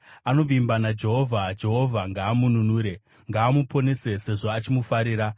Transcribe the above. “Anovimba naJehovha; Jehovha ngaamununure. Ngaamuponese, sezvo achimufarira.”